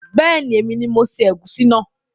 Beeni, èmi ni mo se ègúsí náà